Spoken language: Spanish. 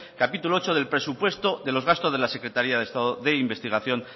capítulo octavo del presupuesto de los gastos de la secretaría de estado de investigación